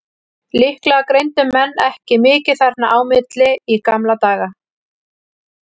Líklega greindu menn ekki mikið þarna á milli í gamla daga.